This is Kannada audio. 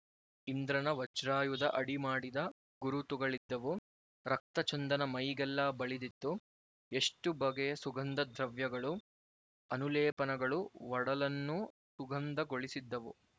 ಇಂದ್ರನ ವಜ್ರಾಯುಧ ಆಡಿ ಮಾಡಿದ ಗುರುತುಗಳಿದ್ದವು ರಕ್ತಚಂದನ ಮೈಗೆಲ್ಲ ಬಳಿದಿತ್ತುಎಷ್ಟು ಬಗೆಯ ಸುಗಂಧ ದ್ರವ್ಯಗಳು ಅನುಲೇಪನಗಳು ಒಡಲನ್ನು ಸುಗಂಧಗೊಳಿಸಿದ್ದವು